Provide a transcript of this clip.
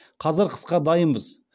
қазір қысқа дайынбыз